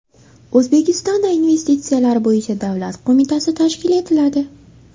O‘zbekistonda Investitsiyalar bo‘yicha davlat qo‘mitasi tashkil etiladi.